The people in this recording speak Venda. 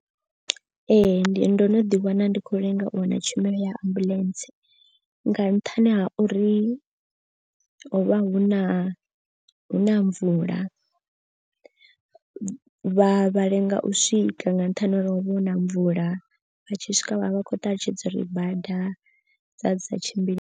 Ee ndi ndo no ḓi wana ndi khou lenga u wana tshumelo ya ambuḽentse. Nga nṱhani ha uri ho vha hu na hu na mvula vha lenga u swika nga nṱhani ha uri hovha huna mvula. Vha tshi swika vhavha vha khou ṱalutshedza uri bada dza dzi sa tshimbile.